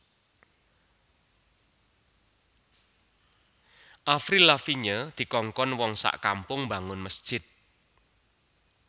Avril Lavigne dikongkon wong sak kampung mbangun mesjid